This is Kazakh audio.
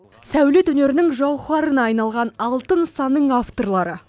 сәулет өнерінің жауһарына айналған алты нысанның авторлары